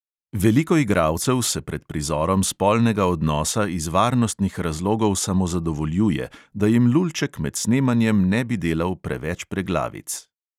Veliko igralcev se pred prizorom spolnega odnosa iz varnostnih razlogov samozadovoljuje, da jim lulček med snemanjem ne bi delal preveč preglavic.